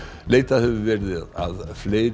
leitað hefur verið að fleiri